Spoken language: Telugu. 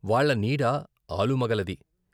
వాళ్ళ నీడ ఆలుమగలది.